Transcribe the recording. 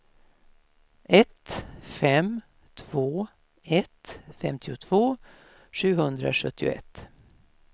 ett fem två ett femtiotvå sjuhundrasjuttioett